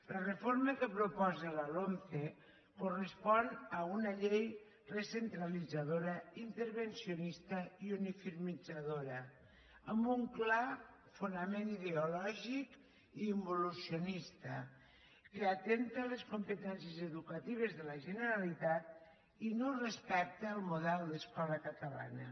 la reforma que proposa la lomce correspon a una llei recentralitzadora intervencionista i uniformitzadora amb un clar fonament ideològic involucionista que atempta contra les competències educatives de la generalitat i no respecta el model d’escola catalana